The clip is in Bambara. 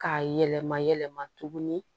K'a yɛlɛma yɛlɛma tuguni